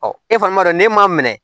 Ɔ e fana b'a dɔn n'e ma minɛ